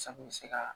Sa kun bɛ se ka